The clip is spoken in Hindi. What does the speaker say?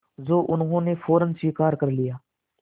जो उन्होंने फ़ौरन स्वीकार कर लिया